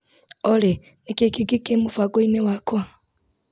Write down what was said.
Olĩ nĩkĩĩ kĩngĩ kĩ mũbango-inĩ wakwa ?